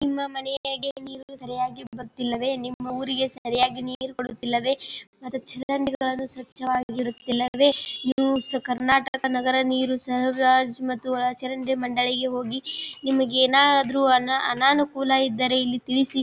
ನಿಮ್ಮ ಮನೆಗೆ ನೀರು ಸರಿಯಾಗಿ ಬರತ್ತಿಲ್ಲವೇ ನಿಮ್ಮ ಊರಿಗೆ ಸರಿಯಾಗಿ ನೀರು ಬರುತ್ತಿಲ್ಲವೇ ಮತ್ತು ಚರಂಡಿಗಳನ್ನು ಸ್ವಚ್ಛವಾಗಿ ಇರುತ್ತಿಲ್ಲವೆ ನ್ಯೂಸ್ ಕರ್ನಾಟಕ ನಗರ ನೀರು ಸರಬರಾಜ್ ಮತ್ತು ಒಳಚರಂಡಿ ಮಂಡಳಿಗೆ ಹೋಗಿ ನಿಮಗೇನಾದ್ರು ಅನಾನ್ ಅನಾನಾಕುಲ ಇದ್ದರೆ ತಿಳಿಸಿ.